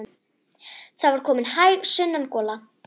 Það var komin hæg sunnan gola.